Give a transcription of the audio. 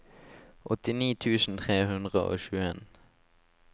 åttini tusen tre hundre og tjueen